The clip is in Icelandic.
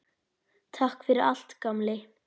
Takk fyrir allt, gamli.